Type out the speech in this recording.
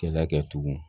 Kɛlɛ kɛ tugun